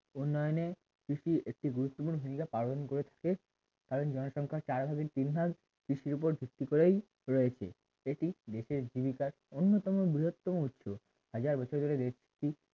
উন্নয়নে কৃষির একটি গুরুত্বপূর্ণ ভূমিকা পালন করে থাকে কারণ জনসংখ্যা চার ভাগে তিন ভাগ কৃষির উপর ভিত্তি করেই রয়েছে এটি দেশের জীবিকার অন্যতম বৃহত্তম উচ্চ হাজার বছরের একটি